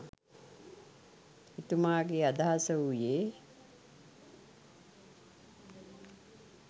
එතුමාගේ අදහස වූයේ